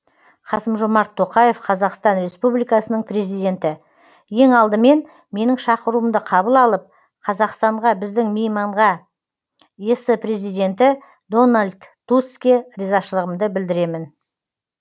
қасым жомарт тоқаев қазақстан республикасының президенті ең алдымен менің шақыруымды қабыл алып қазақстанға біздің мейманға ес президенті дональд тусске ризашылығымды білдіремін